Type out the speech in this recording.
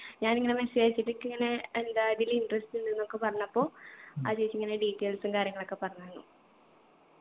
ഞാനിങ്ങനെ message അയച്ചിട്ട് എക്കിങ്ങനെ എന്താ ഇതില് interest ഉണ്ട്ന്നൊക്കെ പറഞ്ഞപ്പോ ആ ചേച്ചി ഇങ്ങനെ details ഉം കാര്യങ്ങളൊക്കെ പറഞ്ഞു തന്നു